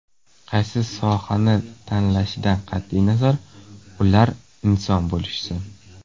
Qaysi sohani tanlashidan qat’iy nazar, ular inson bo‘lishsin.